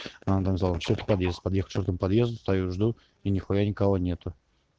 надо что-то подъезд подъезд чёрный подъезда стою жду и нехуя никого нету